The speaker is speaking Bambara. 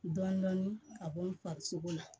Dɔɔnin-dɔɔnin a b'o farisogo la